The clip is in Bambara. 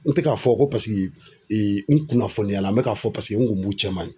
N tɛ k'a fɔ ko paseke n kunnafoniyala n bɛ k'a fɔ paseke n kun b'u cɛma yen.